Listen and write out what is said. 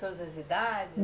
Todas as idades?